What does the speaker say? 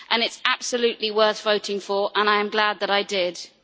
It is absolutely worth voting for, and I am glad that I did so.